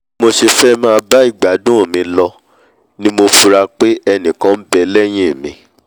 bí mo ṣe fẹ́ máà bá ìgbádùn mi lọ ni mo fura pé ẹnìkan nbẹ lẹ́hìn mi